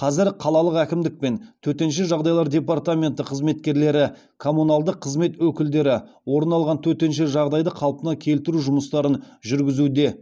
қазір қалалық әкімдік пен төтенше жағдайлар департаменті қызметкерлері коммуналдық қызмет өкілдері орын алған төтенше жағдайды қалпына келтіру жұмыстарын жүргізуде